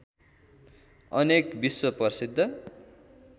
अनेक विश्व प्रसिद्ध